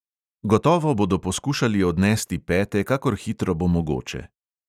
Gotovo bodo poskušali odnesti pete, kakor hitro bo mogoče.